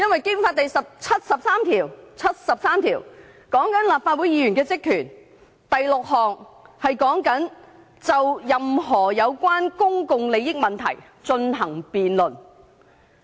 《基本法》第七十三條和立法會議員的職權有關，其中第六項訂明，我們須就任何有關公共利益問題進行辯論。